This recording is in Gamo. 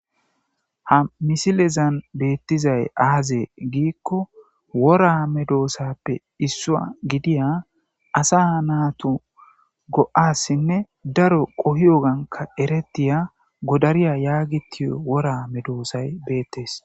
ha misilezan beettizay aazee giikko wora medoosappe issua gidiya asa naatu go7assinne daro qohi oganka eretiya godariya yaagitiyo wora medoosay beettes